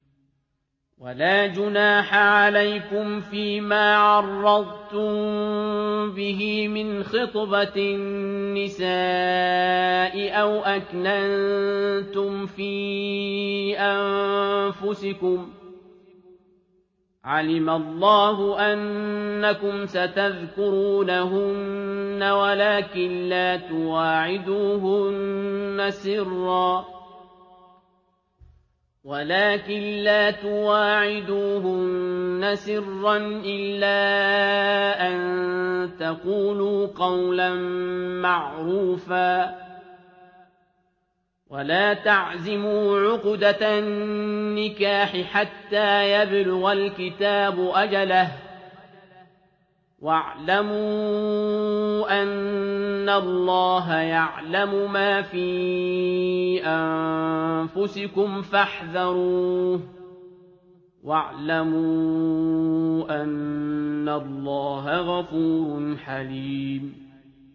وَلَا جُنَاحَ عَلَيْكُمْ فِيمَا عَرَّضْتُم بِهِ مِنْ خِطْبَةِ النِّسَاءِ أَوْ أَكْنَنتُمْ فِي أَنفُسِكُمْ ۚ عَلِمَ اللَّهُ أَنَّكُمْ سَتَذْكُرُونَهُنَّ وَلَٰكِن لَّا تُوَاعِدُوهُنَّ سِرًّا إِلَّا أَن تَقُولُوا قَوْلًا مَّعْرُوفًا ۚ وَلَا تَعْزِمُوا عُقْدَةَ النِّكَاحِ حَتَّىٰ يَبْلُغَ الْكِتَابُ أَجَلَهُ ۚ وَاعْلَمُوا أَنَّ اللَّهَ يَعْلَمُ مَا فِي أَنفُسِكُمْ فَاحْذَرُوهُ ۚ وَاعْلَمُوا أَنَّ اللَّهَ غَفُورٌ حَلِيمٌ